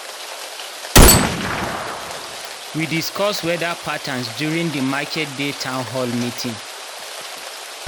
we discuss weda patterns during di market-day town hall meeting.